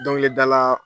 Dɔnkilidala